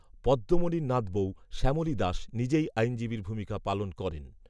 পদ্মমণির নাতবৌ, শ্যামলী দাস, নিজেই আইনজীবীর ভূমিকা পালন করেন